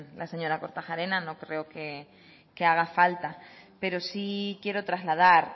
la señora kortajarena no creo que haga falta pero sí quiero trasladar